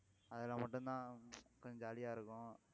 அதுல மட்டும்தான் கொஞ்சம் jolly ஆ இருக்கும்